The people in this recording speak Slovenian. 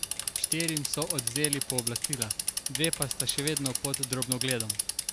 Štirim so odvzeli pooblastila, dve pa sta še vedno pod drobnogledom.